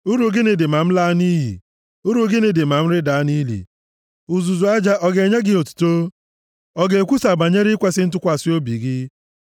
“Uru gịnị dị ma m laa nʼiyi? Uru gịnị dị ma m rịda nʼili? Uzuzu aja ọ ga-enye gị otuto? Ọ ga-ekwusa banyere ikwesi ntụkwasị obi gị?”